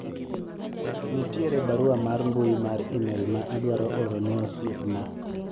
nitie barua mar mbui mar email ma adwaro oror ne osiepna